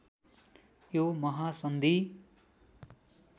यो महासन्धि